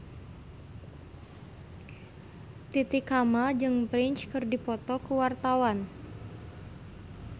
Titi Kamal jeung Prince keur dipoto ku wartawan